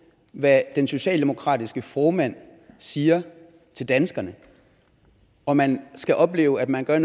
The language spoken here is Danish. hvad den socialdemokratiske formand siger til danskerne og man skal opleve at man gør